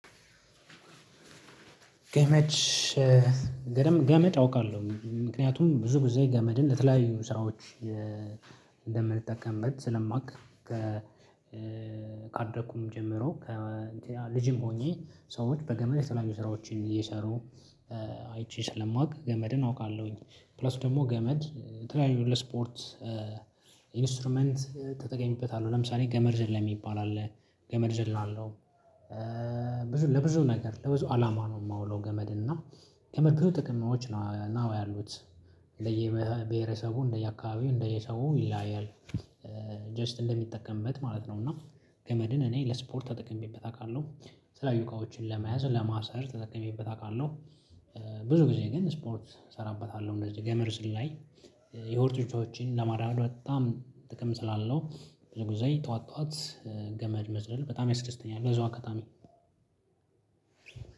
ገመድ ገመድ አውቃለሁ ምክንያቱም ብዙ ብዙ ገመድን ለተለያዩ ስራዎች እንደምንጠቀምበት ስለማውቅ ካደኩም ጀምሮ ከልጅም ሆኜ ሰዎች በገመድ የተለያዩ ስራዎችን እየሰሩ። አይቼ ስለማውቅ ገመድን አውቃለሁኝ። ፕላስ ደግሞ ገመድ የተለያዩ ስፖርት። ኢንስትሩመንት ተጠቀሚበታለሁ ለምሳሌ ገመድ ዘለም ይባላል ገመድ እዘላለው። ብዙ ለብዙ ነገር ለብዙ አላማ ነው የማውለው ገመድ እና ገመድ ብዙ ጥቅሞች ነው ያሉት ለየብሄረሰቡ እንደየአካባቢው እንደየሰው ይለያያል። ጀስት እንደሚጠቀምበት ማለት ነው። እና ገመድን እኔ ለስፖርት ተጠቅሜበት አውቃለሁ የተለያዩ እቃዎችን ለመያዝ ለማሰር ተጠቅሜበት አውቃለሁ። ብዙ ጊዜ ግን ስፖርት እሰራበታለሁ እንደዚህ ገመር ዝላይ። የሆርትሮችን ለማድረግ በጣም ጥቅም ስላለው ብዙ ጊዜ ጠዋት ጠዋት ገመድ መዝለል በጣም ያስደስተኛል እዛው አከታሚ